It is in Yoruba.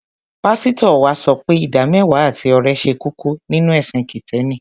Pásítọ̀ wa sọ pé ìdámẹ́wàá àti ọrẹ ṣe kókó nínú ẹ̀sìn Kìtẹ́ẹ́nì.